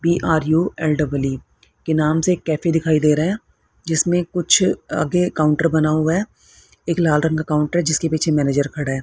PRULEE के नाम से कैफे दिखाई दे रहे हैं जिसमें कुछ आगे काउंटर बना हुआ है एक लाल रंग काउंटर है जिसके पीछे मैनेजर खड़ा है।